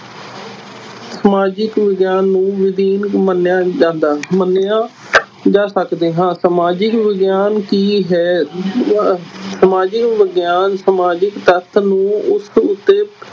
ਸਮਾਜਿਕ ਵਿਗਿਆਨ ਨੂੰ ਮੰਨਿਆ ਜਾਂਦਾ, ਮੰਨਿਆ ਜਾ ਸਕਦੇ ਹਾਂ, ਸਮਾਜਿਕ ਵਿਗਿਆਨ ਕੀ ਹੈ ਸਮਾਜਿਕ ਵਿਗਿਆਨ ਸਮਾਜਿਕ ਤੱਥ ਨੂੰ ਉਸ ਉੱਤੇ